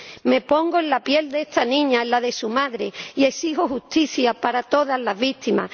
Me pongo en la piel de esta niña, en la de su madre, y exijo justicia para todas las víctimas.